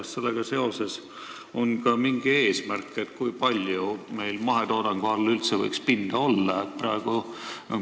Kas sellega seoses on meil ka mingi eesmärk, kui palju võiks üldse mahetoodangu all pinda olla?